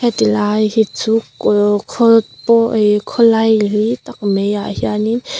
heti lai hi chu kul khawl pawh ihh khawlai li tak mai ah hian in--